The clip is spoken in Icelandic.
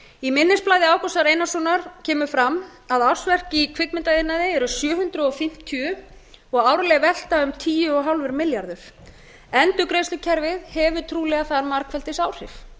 í minnisblaði ágústi einarssonar kemur fram að ársverk í kvikmyndaiðnaði eru sjö hundruð fimmtíu og árleg velta um tíu og hálfur milljarður endurgreiðslukerfið hefur trúlega þar margfeldisáhrif